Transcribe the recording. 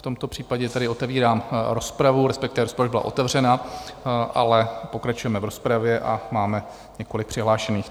V tomto případě tedy otevírám rozpravu, respektive rozprava byla otevřena, ale pokračujeme v rozpravě a máme několik přihlášených.